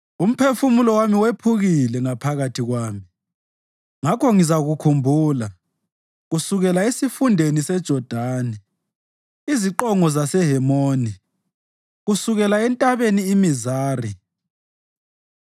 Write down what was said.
Umphefumulo wami wephukile ngaphakathi kwami; ngakho ngizakukhumbula kusukela esifundeni seJodani, iziqongo zaseHemoni, kusukela entabeni iMizari.